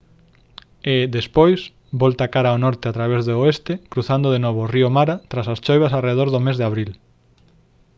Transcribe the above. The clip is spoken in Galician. e despois volta cara ao norte a través do oeste cruzando de novo o río mara tras as choivas arredor do mes de abril